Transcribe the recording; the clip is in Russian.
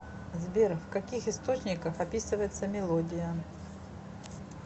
сбер в каких источниках описывается мелодия